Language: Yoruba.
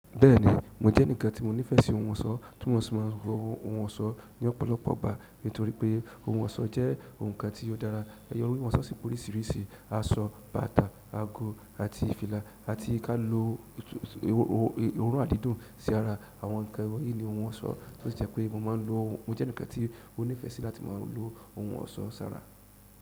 Bẹ́ẹ̀ni, mò jẹ́ ẹnìkan tí mo nífẹsí ohun ọ̀ṣọ́, tí mò ṣì máa ń rò ohun ọ̀ṣọ́ ní ọ̀pọ̀lọpọ̀ ọgbà nítorí pé ohun ọ̀ṣọ́ jẹ́ nǹkan tí ó dára. Won sa si bi oririsi, aṣọ, bàtà, ago, àti ki a irúu oríṣìíríṣìí oorun àdídùn si ara. Àwọn nǹkan wọ̀nyí ní mọ́ n ṣọ́ tó si jẹ́ pé mò máa ń lo, mó jẹ́ ẹnikan tí mo nífẹ́ sí láti máa lo ohun ọ̀ṣọ́ sára.